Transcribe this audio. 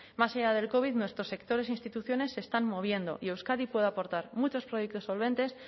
más allá del covid nuestros sectores e instituciones se están moviendo y euskadi puede aportar muchos proyectos solventes